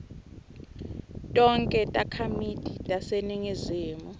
tonkhe takhamiti taseningizimu